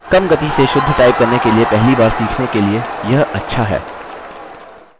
कम गति में शुद्ध टाइप करने के लिए पहली बार सीखने के लिए यह अच्छा है